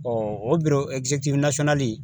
o